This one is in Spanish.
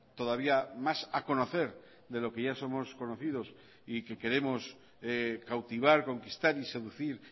todavía más a conocer de lo que ya somos conocidos y que queremos cautivar conquistar y seducir